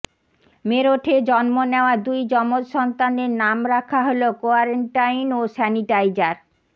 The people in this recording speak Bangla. মেরঠে জন্ম নেওয়া দুই যমজ সন্তানের নাম রাখা হল কোয়ারেন্টাইন ও স্যানিটাইজার